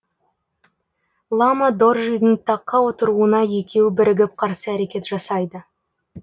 лама доржидың таққа отыруына екеуі бірігіп қарсы әрекет жасайды